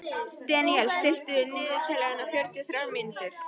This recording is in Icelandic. Deníel, stilltu niðurteljara á fjörutíu og þrjár mínútur.